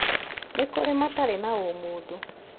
Nĩ kũrĩ matarĩ na ũmũndũ